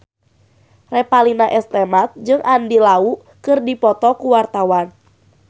Revalina S. Temat jeung Andy Lau keur dipoto ku wartawan